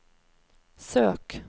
søk